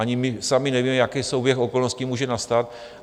Ani my sami nevíme, jaký souběh okolností může nastat.